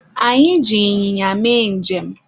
anyị ji ịnyịnya mee njem